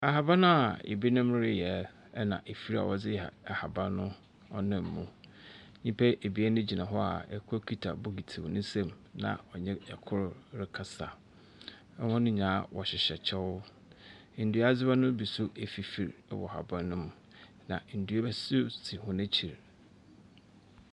Ahaban a binom reyɛ, na afir a wɔdze ha . Ahaban no wɔnam mu. Nyimpa ebien gyina hɔ a kor kita bokiti wɔ ne nsamu na ɔnye kor rekasa. Hɔn nyinaa wɔhyehyɛ kyɛw. Nduadze hɔ no bi nso afifir wɔ haban no mu, na ndua bi nso si hɔn ekyir.